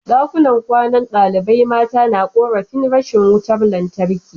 Dakunan kwanan dalibai mata na korafin rashin wutar lantarki